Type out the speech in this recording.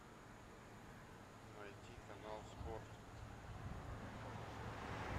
найти канал спорт